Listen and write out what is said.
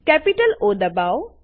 capital O દબાઓ